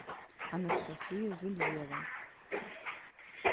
анастасия жульева